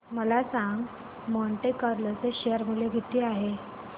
मला सांगा Monte Carlo चे शेअर मूल्य किती आहे